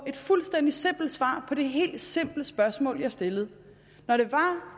et fuldstændig simpelt svar på det helt simple spørgsmål jeg stillede når det var